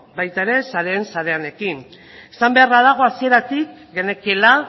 baita saren sareanekin ere esan beharra dago hasieratik genekiela